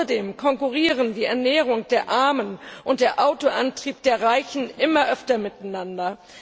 Außerdem konkurrieren die Ernährung der Armen und der Autoantrieb der Reichen immer öfter miteinander.